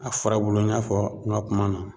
A farabulu in y'a fɔ n ka kuma na.